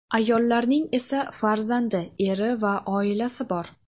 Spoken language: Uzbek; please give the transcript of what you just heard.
Ayollarning esa farzandi, eri va oilasi bor.